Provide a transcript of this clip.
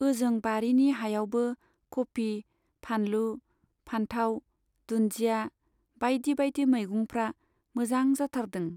ओजों बारिनि हायावबो कपि , फानलु , फान्थाव , दुन्दिया , बाइदि बाइदि मैगंफ्रा मोजां जाथारदों।